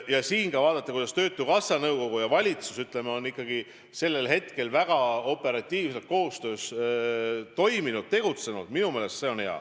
Aga kui vaadata, kuidas töötukassa nõukogu ja valitsus on koostöös toiminud-tegutsenud, siis minu meelest see on olnud hea ja operatiivne koostöö.